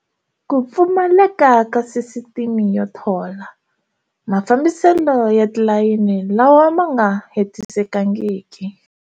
Ku pfumaleka ka sisiteme yo thola, Mafambiselo ya tilayini lawa ma nga hetisekangiki.